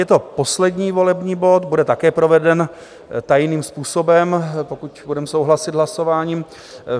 Je to poslední volební bod, bude také proveden tajným způsobem, pokud budeme souhlasit hlasováním.